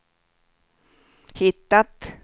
hittat